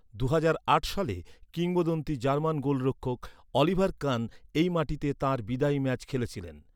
দুহাজার আট সালে কিংবদন্তি জার্মান গোলরক্ষক, অলিভার কান এই মাটিতে তাঁর বিদায়ী ম্যাচ খেলেছিলেন।